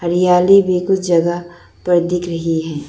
याली भी कुछ जगह पर दिख रही है।